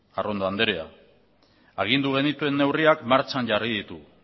arrondo andrea agindu genituen neurriak martxan jarri ditugu